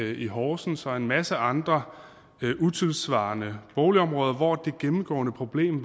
i horsens og en masse andre utidssvarende boligområder hvor det gennemgående problem